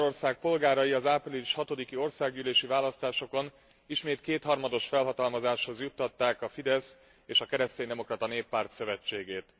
Magyarország polgárai az április 6 i országgyűlési választásokon ismét kétharmados felhatalmazáshoz juttatták a Fidesz és a Kereszténydemokrata Néppárt szövetségét.